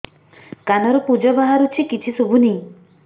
କାନରୁ ପୂଜ ବାହାରୁଛି କିଛି ଶୁଭୁନି